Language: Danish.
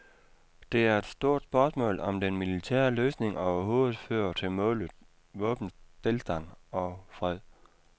Det er et stort spørgsmål, om den militære løsning overhovedet fører til målet, våbenstilstand og fred.